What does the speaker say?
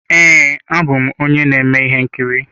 Ee, abụ m onye na-eme ihe nkiri.